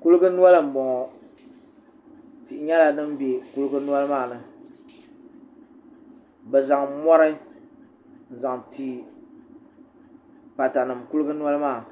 kuligi noli n bɔŋɔ tihi nyɛla din bɛ noli maa ni bɛ zaŋ mɔri zaŋ ti patanim kuli noli pam